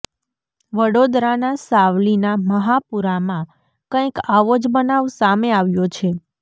વડોદરાના સાવલીના મહાપુરામાં કંઇક આવો જ બનાવ સામે આવ્યો છે